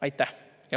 Aitäh!